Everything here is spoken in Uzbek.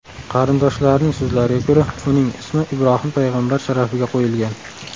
Qarindoshlarining so‘zlariga ko‘ra, uning ismi Ibrohim payg‘ambar sharafiga qo‘yilgan.